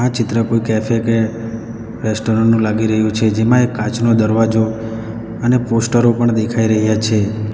ચિત્ર કોઈ કેફે કે રેસ્ટોરન્ટ નું લાગી રહ્યું છે જેમાં એક કાચનો દરવાજો અને પોસ્ટરો પણ દેખાઈ રહ્યા છે.